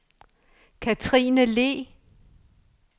Kathrine Le